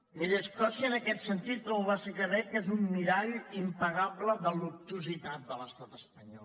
miri escòcia en aquest sentit com ho va ser el quebec és un mirall impagable de l’obtusitat de l’estat espanyol